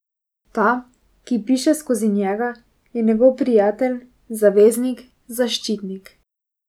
Ta, ki piše skozi njega, je njegov prijatelj, zaveznik, zaščitnik.